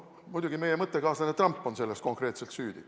Muidugi, meie mõttekaaslane Trump on selles konkreetselt süüdi.